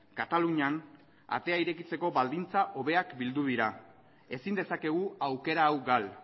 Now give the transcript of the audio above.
katalunian atea irekitzeko baldintza hobeak bildu dira ezin dezakegu aukera hau gal